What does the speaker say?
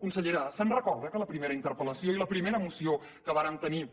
consellera se’n recorda que en la primera interpel·lació i la primera moció que vàrem tenir